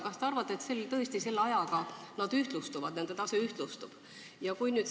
Kas te arvate, et tõesti selle ajaga nende tase ühtlustub?